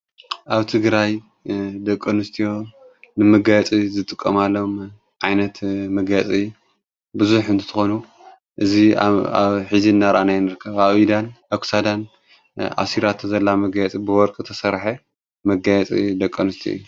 ኣብቲ ግራይ ደቆኑስትዩ ንምጋጺ ዝጥቆማሎም ዓይነት መጋጺ ብዙሕ እንትትኾኑ እዙይ ኣብ ኂዚ እናርኣናይንርከብ ኣኢዳን ኣግሳዳን ኣሲራተ ዘላ መገያጽ ብወርክ ተሠርሐ መጋያጺ ደቆኑስቲ እዩ።